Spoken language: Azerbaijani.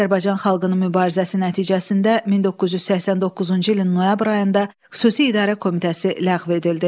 Azərbaycan xalqının mübarizəsi nəticəsində 1989-cu ilin noyabr ayında Xüsusi İdarə Komitəsi ləğv edildi.